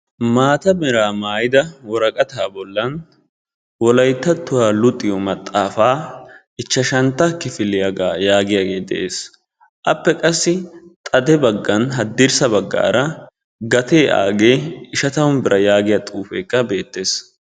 Maatta meraa mayidda woraqqatta bollan, wolayttattuwa luxiyo maxaafaa ichchashantta kifiliyaga giyagge de'es. Appe qassi xadde baggan hadirssa bagara gatee aage ishatammu biraa yaagiya xuufekka beettes.